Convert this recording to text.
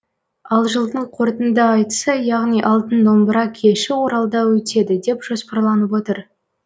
ал жылдың қорытынды айтысы яғни алтын домбыра кеші оралда өтеді деп жоспарланып отыр